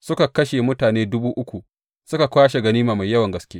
Suka kashe mutane dubu uku suka kwashe ganima mai yawan gaske.